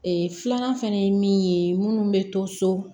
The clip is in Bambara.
filanan fɛnɛ ye min ye munnu bɛ to so